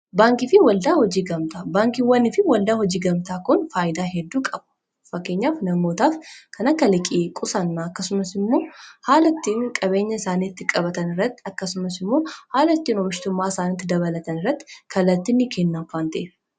Baankii fi waldaan hojii gamtaa dhaabbata tajaajila hammana hin jedhamne biyya tokko keessatti gumaachudha. Kunis, tajaajila liqii fi qusannaa, akkasumas hawaasni akkaata itti maallaqa isaa qusatuufi qusannaan akka gabbatu kan barsiisudha. Kunis ga’ee guddaa taphata.